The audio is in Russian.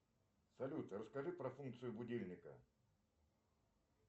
салют расскажи про функцию будильника